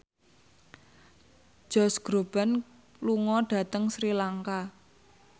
Josh Groban lunga dhateng Sri Lanka